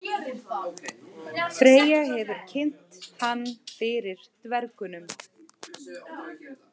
Freyja hefur kynnt hann fyrir dvergunum.